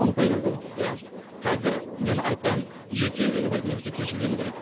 он сегізде иә қазір мен айтпаймын ерте үйлену керек немесе кеш үйлену керек деп